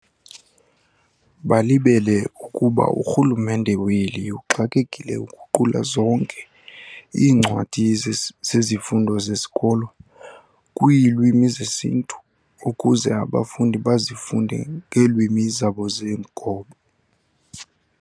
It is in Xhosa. Balibele ukuba urhulumente weli uxakekile uguqula zonke iincwadi zezifundo zesikolo kwiilwmi zesiNtu ukuze abafundi bazifunde ngeelwimi zabo zenkobe.